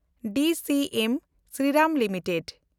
DCM Shriram limited